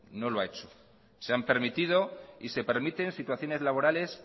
no lo ha hecho se han permitido y se permiten situaciones laborales